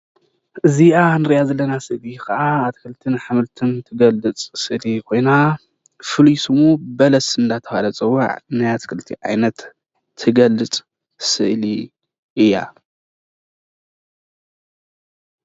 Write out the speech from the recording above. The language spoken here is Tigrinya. እዚኣ እንሪኣ ዘለና ስእሊ ከዓ ኣትኽልትን ኣሕምልትን እትገልፅ ስእሊ ኮይና ፍሉይ ሽሙ በለስ እናተባሃለ ዝፅዋዕ ናይ ኣትክልቲ ዓይነት ትገልፅ ስእሊ እያ፡፡